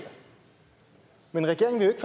men regeringen vil